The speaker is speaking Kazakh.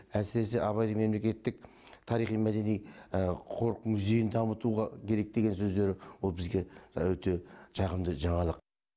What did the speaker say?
әсіресе абай мемлекеттік тарихи мәдени қорық музейін дамытуға керек деген сөздер біз үшін өте жағымды жаңалық